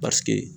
Paseke